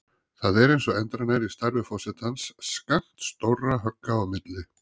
Það er eins og endranær í starfi forsetans skammt stórra högga í milli.